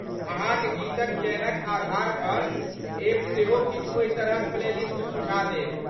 अहाँक गीतक चयनक आधार पर, एप सेहो किछु ओहि तरहक प्लेलिस्ट सुझा देत।